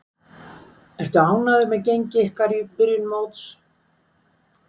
Ertu ánægður með gengi ykkar í byrjun móts?